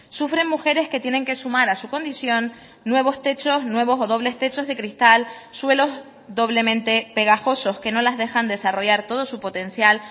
sufren mujeres que tienen que sumar a su condición nuevos techos nuevos o dobles techos de cristal suelos doblemente pegajosos que no las dejan desarrollar todo su potencial